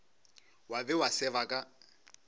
wa be wa seba ka